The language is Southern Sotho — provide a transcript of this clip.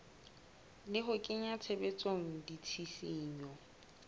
le ho kenya tshebetsong ditshisinyo